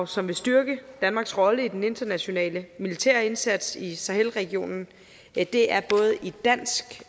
så vil styrke danmarks rolle i den internationale militære indsats i sahel regionen det er både i dansk